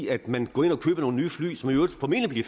at man går ind og køber nogle nye fly som i øvrigt formentlig